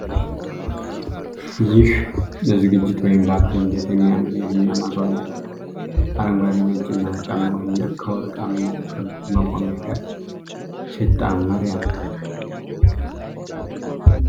ይህ ለዝግጅት (ፓርቲ) እንዴት የሚያምር የፊኛ ማስዋቢያ ነው! አረንጓዴ ፣ ነጭና ወርቃማው ፊኛ ከወርቃማው ክብ መቆሚያ ጋር ሲጣመር ያምራል !